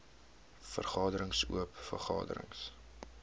vergaderings oop vergaderings